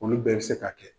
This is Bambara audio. Olu bɛɛ bɛ se ka kɛ